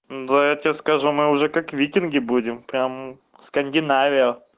да я тебе скажу мы уже как викинги будем прям скандинавия